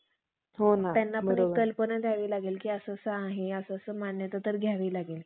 लाजिरवाणी, दुष्ट कर्म आचरून लागली. दुसरे दिवशी फक्त आपल्या उत्पन्नकर्त्यास मात्र भ~ भजणाऱ्या मुसलमानांचे सौम्या